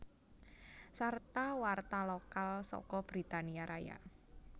Sarta warta lokal saka Britania Raya